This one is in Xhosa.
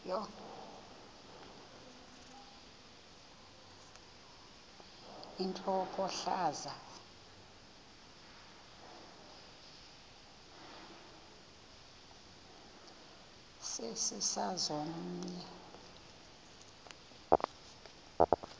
intlokohlaza sesisaz omny